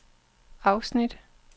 afsnit